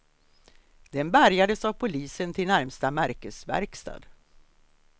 Den bärgades av polisen till närmsta märkesverkstad.